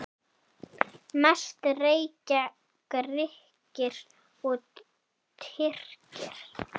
Mest reykja Grikkir og Tyrkir.